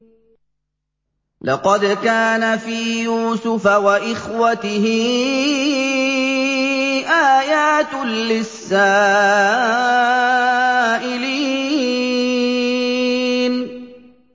۞ لَّقَدْ كَانَ فِي يُوسُفَ وَإِخْوَتِهِ آيَاتٌ لِّلسَّائِلِينَ